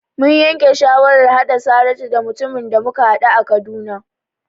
Mun yanke shawarar haɗa Saratu da mutumin da muka haɗu a Kaduna.